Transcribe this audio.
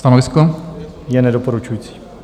Stanovisko je nedoporučující.